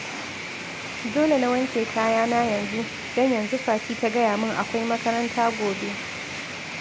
Dole na wanke kayana yanzu, don yanzu Fati ta gaya min akwai makaranta gobe